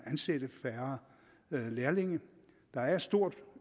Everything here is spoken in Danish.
ansætte færre lærlinge der er et stort